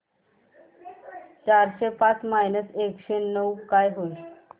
चारशे पाच मायनस एकशे नऊ काय होईल